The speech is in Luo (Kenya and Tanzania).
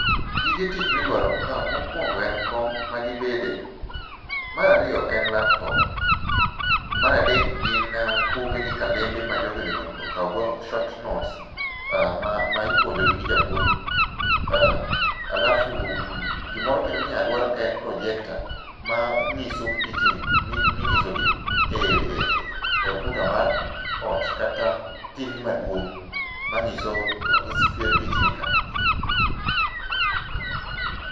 Gige tich midwaro ka mokuongo en kom ma gibetie, mar ariyo en laptop. Mar adek gin buge gi kalembe ma jogi onego okawgo short notes ma ipuonjogi gi japuonj alafu gimoro kendo minyalo dwar kae en projecta manyiso pichni minyisogi e okuta mar ot ,kata TV maduong' manyiso pichni ka.